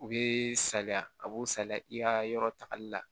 U bɛ saliya a b'u saliya i ka yɔrɔ tagali la